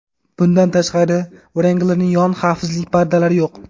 Bundan tashqari, Wrangler’ning yon xavfsizlik pardalari yo‘q.